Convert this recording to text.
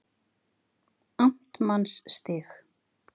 Amtmannsstíg